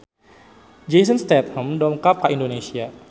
Jason Statham dongkap ka Indonesia